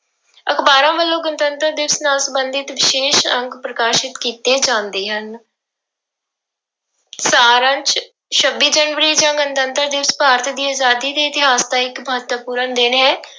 ਅਖ਼ਬਾਰਾਂ ਵੱਲੋਂ ਗਣਤੰਤਰ ਦਿਵਸ ਨਾਲ ਸੰਬੰਧਿਤ ਵਿਸ਼ੇਸ਼ ਅੰਕ ਪ੍ਰਕਾਸ਼ਿਤ ਕੀਤੇ ਜਾਂਦੇ ਹਨ ਸਾਰ ਅੰਸ ਛੱਬੀ ਜਨਵਰੀ ਜਾਂ ਗਣਤੰਤਰ ਦਿਵਸ ਭਾਰਤ ਦੀ ਆਜ਼ਾਦੀ ਦੇ ਇਤਿਹਾਸ ਦਾ ਇੱਕ ਮਹੱਤਵਪੂਰਨ ਦਿਨ ਹੈ।